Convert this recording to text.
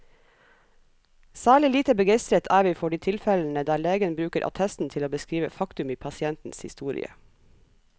Særlig lite begeistret er vi for de tilfellene der legen bruker attesten til å beskrive faktum i pasientens historie.